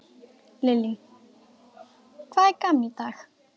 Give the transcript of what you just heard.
Lillý: Hvað er gaman í dag?